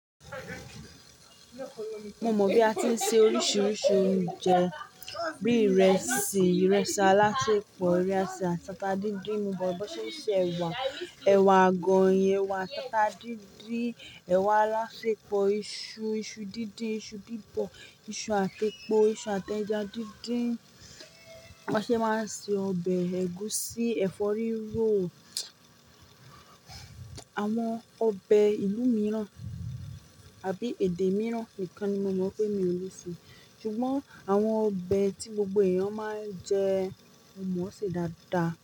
Mo mọ̀ bí a ti ń se oríṣiríṣi oúnjẹ bí ìrẹsì, ìrẹsì alásèpọ̀, ìrẹsì àsátà díndín, mo mọ bọ́ ṣe se ẹ̀wà, ẹ̀wà àgọ̀ oyin, ẹ̀wà àsátà díndín, ẹ̀wà alásèpọ̀, iṣu, iṣu díndín, iṣu dìbò, iṣu àti epo, iṣu àti ẹja díndín. Wọn ṣé máa ń se ọbẹ̀ ẹ̀gúsí, ẹ̀fọ́ rírò. Àwọn ọbẹ̀ ìlú mìíràn àbí èdè mìíràn nìkan ni mo mọ̀ pé mi ò lè se. Ṣùgbọ́n àwọn ọbẹ̀ tí gbogbo èèyàn máa ń jẹ mo mọ̀ ọ́ se dáadáa.